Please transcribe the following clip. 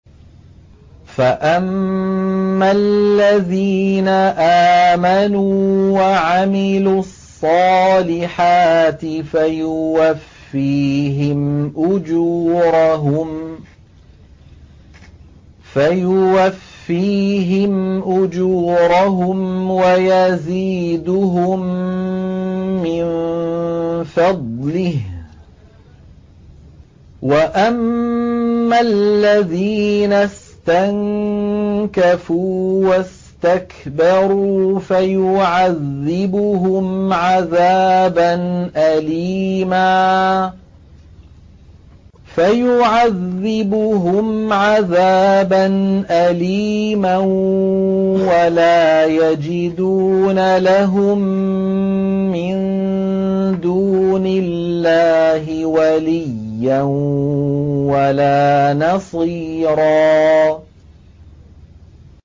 فَأَمَّا الَّذِينَ آمَنُوا وَعَمِلُوا الصَّالِحَاتِ فَيُوَفِّيهِمْ أُجُورَهُمْ وَيَزِيدُهُم مِّن فَضْلِهِ ۖ وَأَمَّا الَّذِينَ اسْتَنكَفُوا وَاسْتَكْبَرُوا فَيُعَذِّبُهُمْ عَذَابًا أَلِيمًا وَلَا يَجِدُونَ لَهُم مِّن دُونِ اللَّهِ وَلِيًّا وَلَا نَصِيرًا